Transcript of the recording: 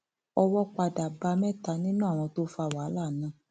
owó padà bá mẹta nínú àwọn tó fa wàhálà náà